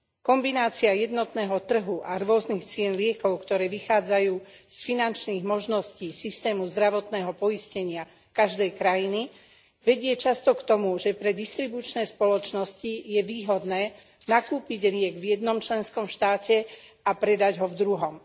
Kombinácia jednotného trhu a rôznych cien liekov, ktoré vychádzajú z finančných možností systému zdravotného poistenia každej krajiny, vedie často k tomu, že pre distribučné spoločnosti je výhodné nakúpiť liek v jednom členskom štáte a predať ho v druhom.